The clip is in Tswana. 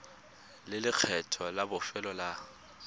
le lekgetho la bofelo la